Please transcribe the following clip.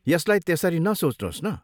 यसलाई त्यसरी नसोच्नुहोस् न।